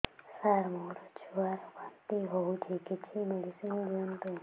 ସାର ମୋର ଛୁଆ ର ବାନ୍ତି ହଉଚି କିଛି ମେଡିସିନ ଦିଅନ୍ତୁ